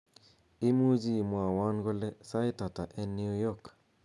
imuche imwowon kole sait ata en new Yew york